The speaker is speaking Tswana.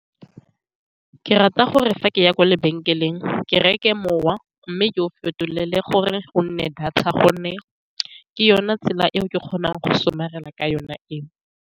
Ke rata gore fa ke ya kwa lebenkeleng, ke reke mowa, mme ke o fetolele gore go nne data, ka gonne ke yone tsela eo ke kgonang go somarela ka yone eo.